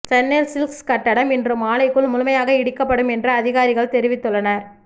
Chennai silks கட்டடம் இன்று மாலைக்குள் முழுமையாக இடிக்கப்படும் எனறு அதிகாரிகள் தெரிவித்துள்ளனர்